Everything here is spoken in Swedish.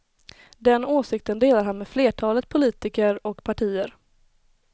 Den åsikten delar han med flertalet politiker och partier.